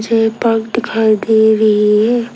मुझे एक पार्क दिखाई दे रही है।